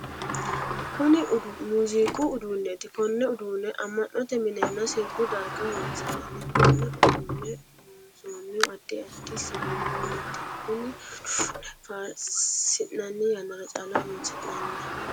Kunni muuziiqu uduunneeti. Konne uduune ama'note minenna sirbu darga horoonsi'nanni. Konne uduune loonsoonnihu addi addi siwiilunniiti. Kunni uduune faarsinnanni yannara calla horoonsi'nanni.